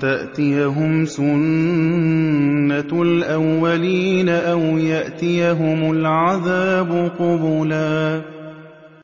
تَأْتِيَهُمْ سُنَّةُ الْأَوَّلِينَ أَوْ يَأْتِيَهُمُ الْعَذَابُ قُبُلًا